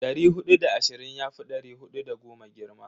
Dari hudu da ashirin yafi dari hudu da goma girma.